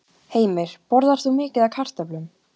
Heimir: Borðar þú mikið af kartöflum?